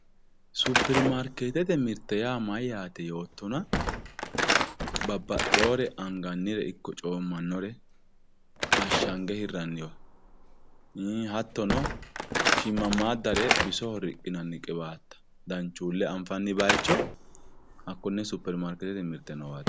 superimariketette mirte yaa mayatte yootonna babaxewore aniganire iko comanore ashanige hiraniwa haatono shimamadare bissoho riqinani qiwatta danchule anifanni bayicho hakone superimariketete mirte noowatti